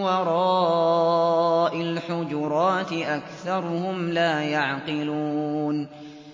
وَرَاءِ الْحُجُرَاتِ أَكْثَرُهُمْ لَا يَعْقِلُونَ